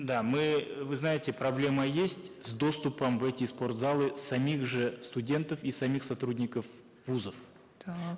да мы вы знаете проблема есть с доступом в эти спортзалы самих же студентов и самих сотрудников вузов так